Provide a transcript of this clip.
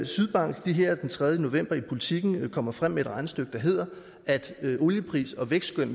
sydbank her den tredje november i politiken kommer frem med et regnestykke der hedder at hvis oliepriser og vækstskøn